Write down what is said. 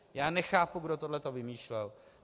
Já nechápu, kdo toto vymýšlel.